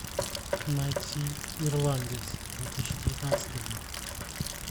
найти ирландец две тысячи девятнадцатый год